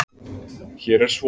Hér er svo